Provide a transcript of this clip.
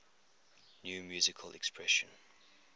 new musical express